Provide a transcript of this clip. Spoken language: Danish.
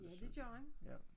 Ja det gør han